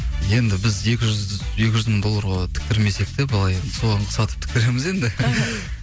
енді екі жүз мың долларға тіктірмесек те былай енді соған ұқсатып тіктіреміз енді іхі